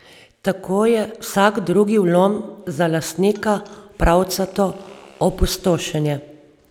Tako je vsak drugi vlom za lastnika pravcato opustošenje.